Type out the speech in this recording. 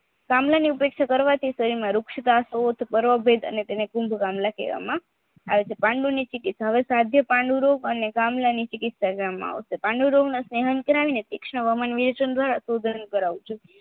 કમળાની અપેક્ષા શરીરમાં વૃક્ષત પાર્મભેદ તેને કુન્દકમલા કહેવામાં આવે છે પાંડુની કરાવ્યું છે